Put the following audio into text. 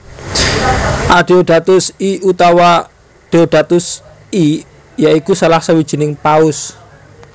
Adeodatus I utawa Deodatus I ya iku salah sawijining Paus